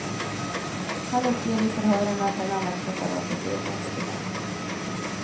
Han uppger i förhören att han använt preparaten till egna experiment.